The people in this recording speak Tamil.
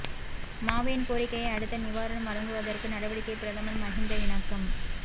மாவையின் கோரிக்கையை அடுத்து நிவாரணம் வழங்குவதகு நடவடிக்கை பிரதமர் மஹிந்த இணக்கம்